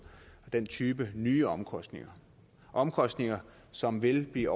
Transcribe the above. den type nye omkostninger omkostninger som vil blive